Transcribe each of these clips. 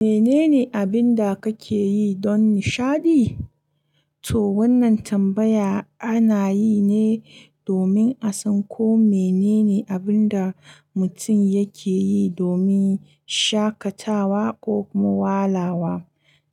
Menene abin da kake yi don nishaɗi? To wannan tambaya ana yi ne domin a san ko menene abin da mutum yake yi domin shakatawa ko kuma walawa.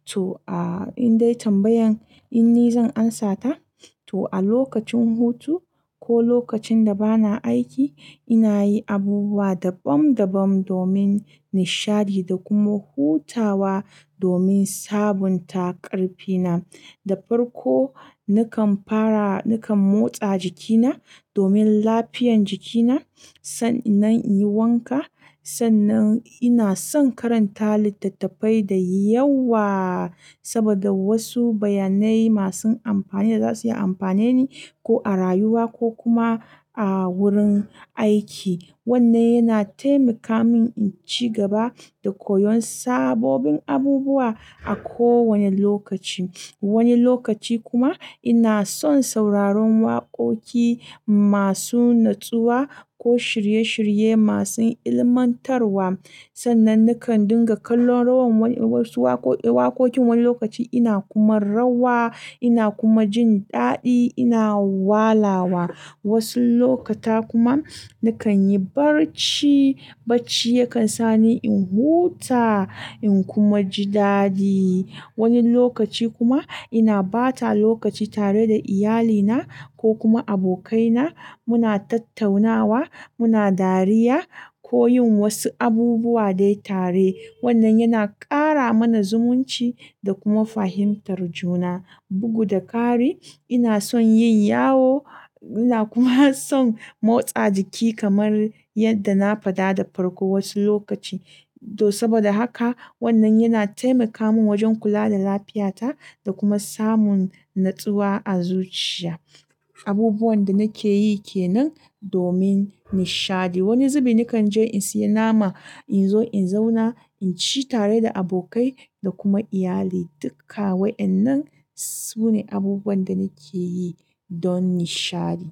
To, a indai tambayan in ni zan ansata? To a lokacin hutu ko lokacin da bana aiki ina yi abubuwa dabam dabam domin nishaɗi da kuma hutawa domin sabunta ƙarfina. Da farko nakan fara nakan motsa jikina domin lafiyan jikina sannan in yi wanka, sannan ina son karanta littattafai da yawa saboda wasu bayanai masu amfani da za su yi amfaneni ko a rayuwa ko kuma a wurin aiki. Wannan yana taimaka min in ci gaba da koyon sabobin abubuwa a kowane lokaci. Wani lokaci kuma ina son sauraron waƙoƙi masu natsuwa ko shirye-shirye masu ilmantarwa. Sannan nakan dinga kallon rawan wani wasu waƙoƙin, wani lokaci ina kuma rawa ina kuma jin daɗi ina walawa. Wasu lokuta kuma nakan yi barci, bacci yakan sa ni in huta in kuma ji daɗi. Wani lokaci kuma ina bata lokaci tare da iyalina ko kuma abokaina muna tattaunawa, muna dariya ko yin wasu abubuwa dai tare. Wannan yana ƙara mana zumunci da kuma fahimtar juna. Bugu da ƙari ina son yin yawo ina kuma son motsa jiki kamar yadda na faɗa da farko wasu lokaci. To saboda haka wannan yana taimaka min wajen kula da lafiyata da kuma samun natsuwa a zuciya. Abubuwan da nake yi ke nan domin nishaɗi. Wani zubi nakan je in sayi nama in zo in zauna in ci tare da abokai da kuma iyali. Duka wa'yannan su ne abubuwan da nake yi don nishaɗi.